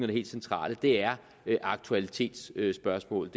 det helt centrale er aktualitetsspørgsmål